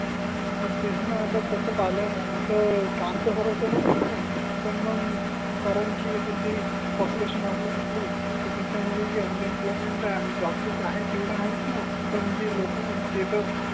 हो तेच णा आता तस पाहिल तर काम तर सर्वाना समेच आहे पण मग कारण की जे पॉप्युलेशन वाडली आपली तर त्याच्या मूळे जे अन इम्प्लॉयमेंट आहे आणि जे जॉबच आहे तेवड आहेच णा पण जे लोक आहे ते तर